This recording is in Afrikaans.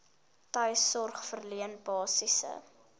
tuissorg verleen basiese